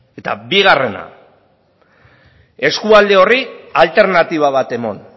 eta bigarrena eskualde horri alternatiba bat eman